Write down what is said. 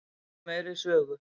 Við viljum meiri sögu.